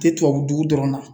Tɛ tubabu dugu dɔrɔn na